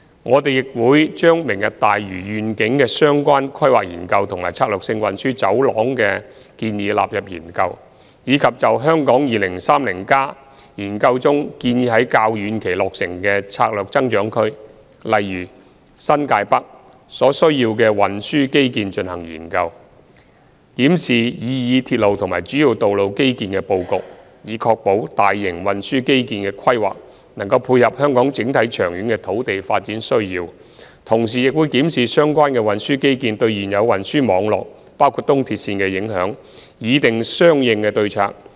我們亦會將"明日大嶼願景"的相關規劃研究及策略性運輸走廊的建議納入研究，以及就《香港 2030+》研究中建議在較遠期落成的策略增長區所需要的運輸基建進行研究，檢視擬議鐵路及主要道路基建的布局，以確保大型運輸基建的規劃能配合香港整體長遠的土地發展需要；同時亦會檢視相關的運輸基建對現有運輸網絡的影響，擬訂相應的對策。